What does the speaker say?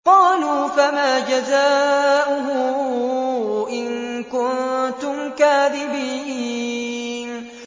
قَالُوا فَمَا جَزَاؤُهُ إِن كُنتُمْ كَاذِبِينَ